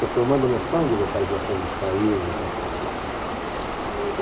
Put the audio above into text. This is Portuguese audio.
E é formando a noção de localização dos países, aquela coisa toda. E